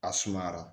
A sumayara